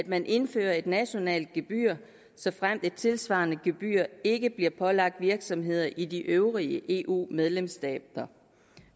man indfører et nationalt gebyr såfremt et tilsvarende gebyr ikke bliver pålagt virksomheder i de øvrige eu medlemsstater